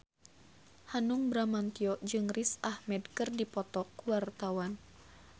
Hanung Bramantyo jeung Riz Ahmed keur dipoto ku wartawan